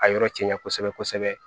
A yɔrɔ cɛ janya kosɛbɛ kosɛbɛ